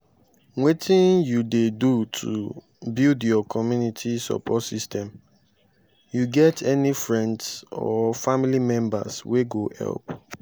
wetin you dey do to build your community support system you get any friends or family members wey go help?